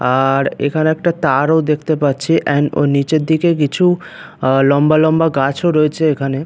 আর এইখানে একটা তারও দেখতে পাচ্ছি এন্ড নিচের দিকে কিছু লম্বা লম্বা গাছও রয়েছে এইখানে।